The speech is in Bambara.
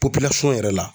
yɛrɛ